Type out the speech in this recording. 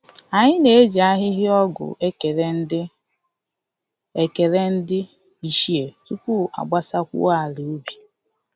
Anyị na-eji ahịhịa ọgwụ ekele ndị ekele ndị ichie tupu a gbasakwuo ala ubi